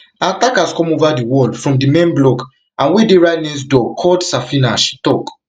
her attackers come over di wall from di men block and wey dey right next door called safina she tok